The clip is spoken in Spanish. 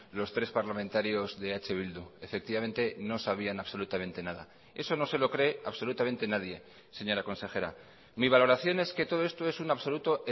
los tres parlamentarios de eh bildu efectivamente no sabían absolutamente nada eso no se lo cree absolutamente nadie señora consejera mi valoración es que todo esto es un absoluto